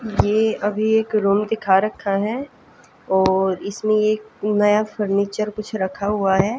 ये अभी एक रूम दिखा रखा है और इसमें एक नया फर्नीचर कुछ रखा हुआ है।